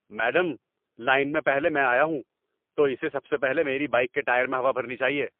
Madam, line میں پہلے میں آیا ہوں، تو اسے سب سے پہلے میری بائیک کے ٹائر میں ہوا بھرنی چاہیے۔